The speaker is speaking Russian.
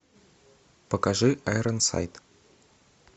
покажи айронсайт